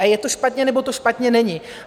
A je to špatně, nebo to špatně není.